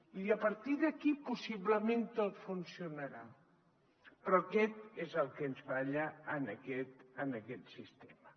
i a partir d’aquí possiblement tot funcionarà però això és el que ens falla en aquest sistema